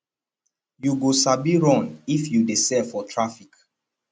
you go sabi run if you dey sell for traffic